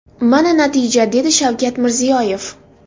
Mana natija”, dedi Shavkat Mirziyoyev.